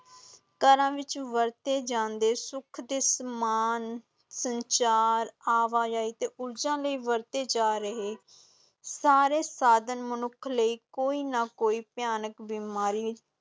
ਘਰਾਂ ਵਿਚ ਵਰਤੇ ਜਾਂਦੇ ਸੁਖ ਦੇ ਸਮਾਨ, ਸੰਚਾਰ, ਆਵਾਜਾਈ ਤੇ ਊਰਜਾ ਲਈ ਵਰਤੇ ਜਾ ਰਹੇ ਸਾਰੇ ਸਾਧਨ ਮਨੁੱਖ ਲਈ ਕੋਈ ਨਾ ਕੋਈ ਭਿਆਨਕ ਬਿਮਾਰੀ